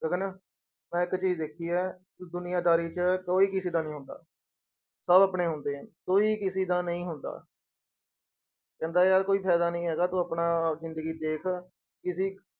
ਗਗਨ ਮੈਂ ਇੱਕ ਚੀਜ਼ ਦੇਖੀ ਹੈ ਦੁਨੀਆਂਦਾਰੀ 'ਚ ਕੋਈ ਕਿਸੇ ਦਾ ਨੀ ਹੁੰਦਾ, ਸਭ ਆਪਣੇ ਹੁੰਦੇ ਹੈ ਕੋਈ ਕਿਸੇ ਦਾ ਨਹੀਂ ਹੁੰਦਾ ਕਹਿੰਦਾ ਯਾਰ ਕੋਈ ਫ਼ਾਇਦਾ ਨੀ ਹੈਗਾ ਤੂੰ ਆਪਣਾ ਜ਼ਿੰਦਗੀ ਦੇਖ, ਕਿਸੇ